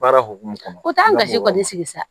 Baara hokumu kɔnɔna o t'an ka si kɔni sigi sa